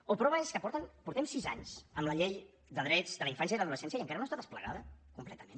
o prova és que portem sis anys amb la llei de drets de la infància i l’adolescència i encara no està desplegada completament